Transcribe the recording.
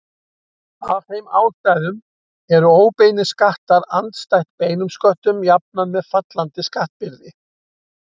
Af þeim ástæðum eru óbeinir skattar andstætt beinum sköttum jafnan með fallandi skattbyrði.